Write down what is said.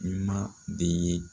I ma de ye